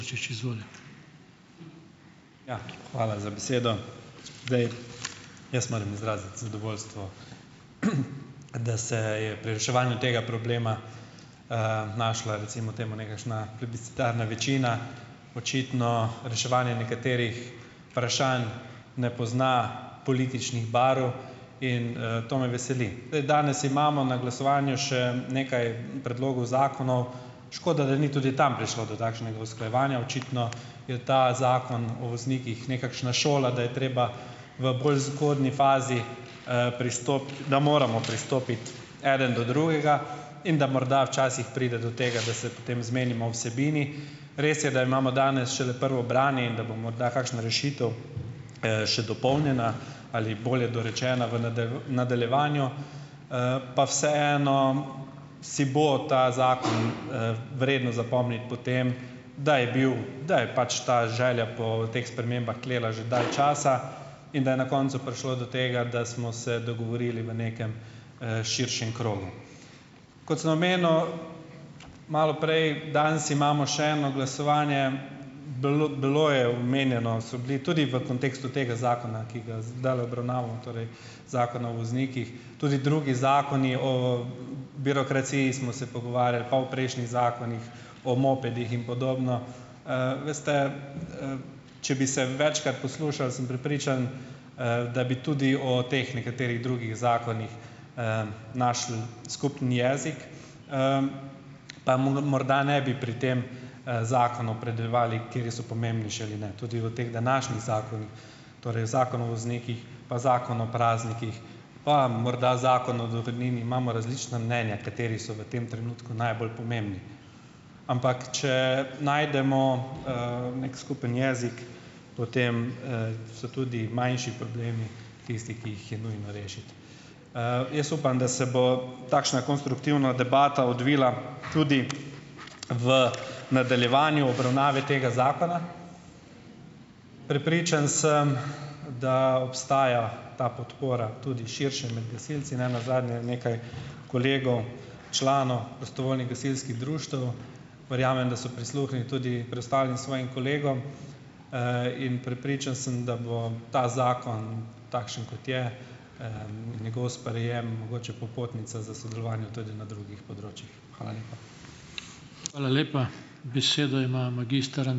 Ja. hvala za besedo. Zdaj, jaz moram izraziti zadovoljstvo, da se je pri reševanju tega problema, našla, recimo temu nekakšna plebiscitarna večina. Očitno reševanje nekaterih vprašanj ne pozna političnih barv in, to me veseli. Danes imamo na glasovanju še nekaj predlogov zakonov. Škoda, da ni tudi tam prišlo do takšnega usklajevanja. Očitno je ta Zakon o voznikih nekakšna šola, da je treba v bolj zgodnji fazi, da moramo pristopiti, eden do drugega, in da morda včasih pride do tega, da se potem zmenimo o vsebini. Res je, da imamo danes šele prvo branje in da bo morda kakšna rešitev, še dopolnjena ali bolje dorečena v v nadaljevanju, pa vseeno si bo ta zakon, vredno zapomniti po tem, da je bil, da je pač ta želja po teh spremembah tlela že dalj časa, in da je na koncu prišlo do tega, da smo se dogovorili v nekem, širšem krogu. Kot sem omenil malo prej, danes imamo še eno glasovanje, bilo bilo je omenjeno, so bili tudi v kontekstu tega zakona, ki ga zdajle obravnavamo, torej Zakona o voznikih, tudi drugi zakoni, o birokraciji smo se pogovarjali pa o prejšnjih zakonih, o mopedih in podobno. Veste, če bi se večkrat poslušali, sem prepričan, da bi tudi o teh nekaterih drugih zakonih, našli skupni jezik, pa morda ne bi pri tem, zakonu opredeljevali, kateri so pomembnejši ali ne, tudi o teh današnjih zakonih, torej Zakon o voznikih, pa Zakon o praznikih, pa morda Zakon o dohodnini, imamo različna mnenja, kateri so v tem trenutku najbolj pomembni. Ampak, če najdemo, neki skupni jezik, potem, se tudi manjši problemi tisti, ki jih je nujno rešiti. Jaz upam, da se bo takšna konstruktivna debata odvila tudi v nadaljevanju obravnave tega zakona. Prepričan sem, da obstaja ta podpora tudi širše med gasilci. Ne nazadnje je nekaj kolegov, članov prostovoljnih gasilskih društev, verjamem, da so prisluhnili tudi preostalim svojim kolegom, in prepričan sem, da bo ta zakon takšen, kot je, njegov sprejem mogoče popotnica za sodelovanje tudi na drugih področjih. Hvala lepa.